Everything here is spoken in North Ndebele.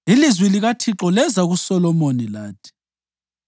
Ilizwi likaThixo leza kuSolomoni lathi,